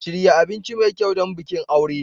Shirya abinci mai kyau don bikin aure.